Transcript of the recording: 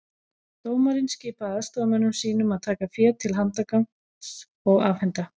Dómarinn skipaði aðstoðarmönnum sínum að taka féð til handargagns og afhenda